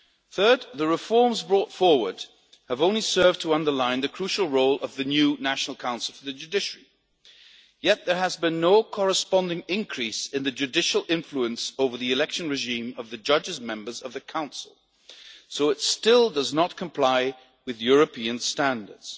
Third, the reforms brought forward have only served to underline the crucial role of the new National Council for the Judiciary, yet there has been no corresponding increase in the judicial influence over the election regime of the judges' members of the Council, so it still does not comply with European standards.